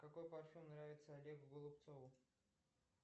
какой парфюм нравится олегу голубцову